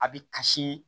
A bi kasi